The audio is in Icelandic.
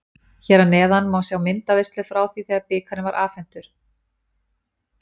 Hér að neðan má sjá myndaveislu frá því þegar bikarinn var afhentur.